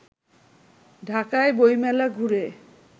ঢাকায় বইমেলা ঘুরে